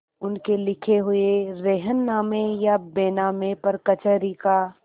उनके लिखे हुए रेहननामे या बैनामे पर कचहरी का